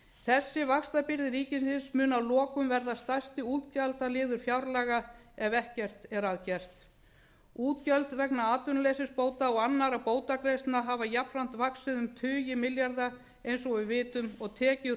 þessi vaxtabyrði ríkisins mun að lokum verða stærsti útgjaldaliður fjárlaga ef ekkert verður að gert útgjöld vegna atvinnuleysisbóta og annarra bótagreiðslna hafa jafnframt vaxið um tugi milljarða eins og við vitum og tekjur